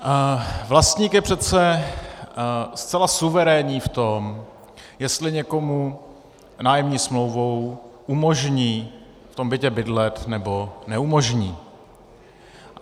Vlastník je přece zcela suverénní v tom, jestli někomu nájemní smlouvou umožní v tom bytě bydlet, nebo neumožní.